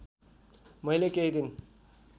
मैले केहि दिन